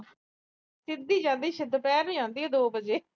ਸਿੱਧੀ ਜਾਂਦੀ ਆ ਦੁਪਹਿਰ ਨੂੰ ਦੋ ਵਜੇ।